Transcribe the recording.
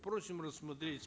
просим рассмотреть